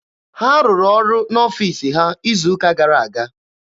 Ha rụrụ ọrụ n'ọfiisi ha izu ụka gara aga.